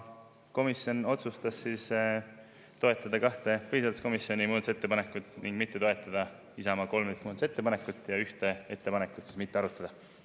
Komisjon otsustas toetada kahte põhiseaduskomisjoni muudatusettepanekut ning mitte toetada Isamaa 13 muudatusettepanekut ja ühte ettepanekut mitte arutada.